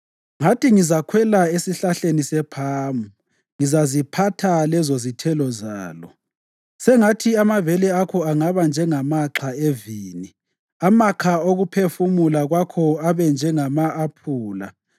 Ngathi, “Ngizakhwela esihlahleni sephamu; ngizaziphatha lezozithelo zalo.” Sengathi amabele akho angaba njengamaxha evini, amakha okuphefumula kwakho abe njengama-aphula,